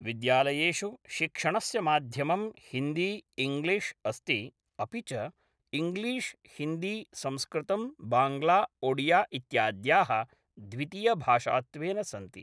विद्यालयेषु शिक्षणस्य माध्यमं हिन्दी इङ्ग्लीश् अस्ति अपि च इङ्लिश् हिन्दी संस्कृतम् बाङ्ग्ला ओडिया इत्याद्याः द्वितीयभाषात्वेन सन्ति।